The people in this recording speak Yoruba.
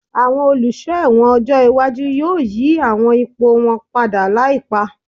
Àwọn Olùsọ́ ẹ̀wọ̀n ọjọ́ iwájú yóò yí àwọn ipò wọn padà láìpá